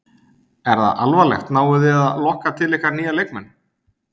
Er það alvarlegt, náið þið að lokka til ykkar nýja leikmenn?